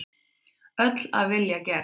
Öll af vilja gerð.